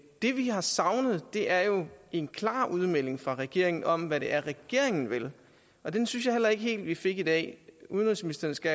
det vi har savnet er jo en klar udmelding fra regeringen om hvad det er regeringen vil og den synes jeg heller ikke helt at vi fik i dag udenrigsministeren skal